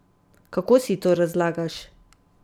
Kako si to razlagaš?